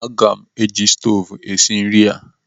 Aga m eji stoovu esi nri a.